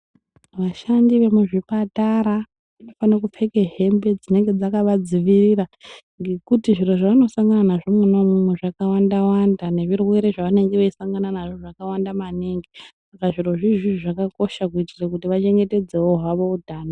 Vashandi vemuzvipatara vanofane kupfeke hembe dzinenge dzakavadzivirira ngekuti zviro zvavanosangana nazvo mona imwomwo zvakawandawanda nezvirwere zvavanenge veisangana nazvo zvakawanda maningi saka zviro zviizvi zvakakosha kuitire kuti vachengetedze hwavo utano.